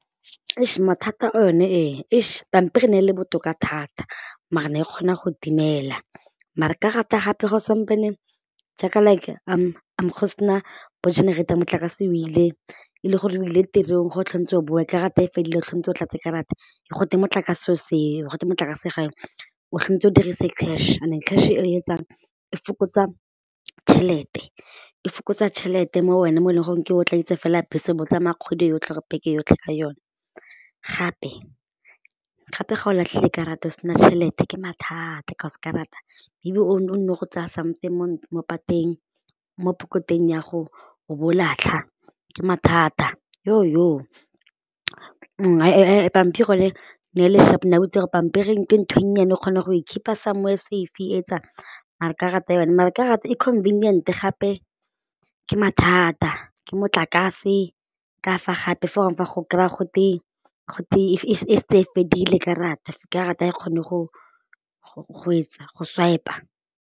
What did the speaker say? Eish, mathata one ee, eish pampiri e ne e le botoka thata maar ne e kgona go timela mare karata gape ga o sampane jaaka like go se na bo-generator motlakase o ile e le gore o ile tirong go o boe karata e fedile o o tlatse ka rata go te motlakase o seo go twe motlakase ga o yo, o o dirisa cash and cash eo etsang e fokotsa tšhelete e fokotsa tšhelete mo wena mo e leng gore ka o tladitse fela bese bo tsamaya kgwedi yotlhe or beke yotlhe ka yone gape ga o latlhile karata o se na tšhelete ke mathata cause karata o nno go tsaya something mo pateng mo pokoteng ya go bo o latlha ke mathata , pampiri yone e ne le sharp ne o itse gore pampiri ke ntho e nnyane o kgona go e keep-a somewhere safe e etsang mara karata yone mare karata e convinient gape ke mathata ke motlakase ka fa gape fo gongwe fa o kry-a , go te e fedile karata, karata ha e kgone go etsa go swipe-a.